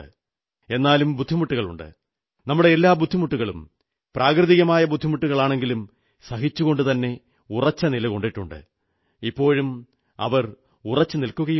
എന്നാലും ബുദ്ധിമുട്ടുകളുണ്ട് നമ്മുടെ എല്ലാ ബുദ്ധിമുട്ടികളും സ്വാഭാവികമായ ബുദ്ധിമുട്ടുകളാണെങ്കിലും സഹിച്ചുകൊണ്ടുതന്നെ ഉറച്ചു നിലകൊണ്ടിട്ടുണ്ട് ഇപ്പോഴും അവർ ഉറച്ചു നിൽക്കുകയാണ്